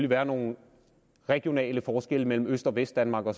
være nogle regionale forskelle mellem øst og vestdanmark og